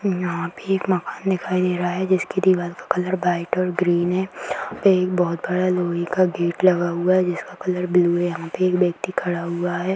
यहां पे एक मकान दिखाई दे रहा हैजिसकी दीवार का कलर व्हाइट और ग्रीन है यहां पे एक बहुत बड़ा लोहे का गेट लगा हुआ है जिसका कलर ब्लू है यहां पर एक व्यक्ति खड़ा हुआ है।